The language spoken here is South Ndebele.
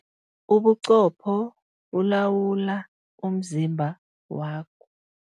Ubuqopho bulawula umzimba wakho.